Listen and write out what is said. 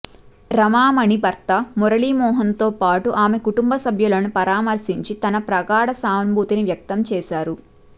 రమామణి భర్త మురళీమోహన్తో పాటు ఆమె కుటుంబసభ్యులను పరామర్శించి తమ ప్రగాఢ సానుభూతి వ్యక్తంచేశారు